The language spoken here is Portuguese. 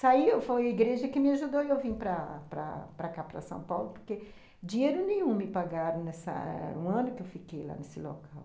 Saí, foi a igreja que me ajudou e eu vim para para cá, para São Paulo, porque dinheiro nenhum me pagaram nessa... um ano que eu fiquei lá nesse local.